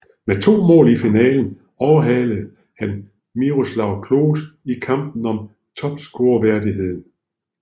Med to mål i finalen overhalede han Miroslav Klose i kampen om topscorerværdigheden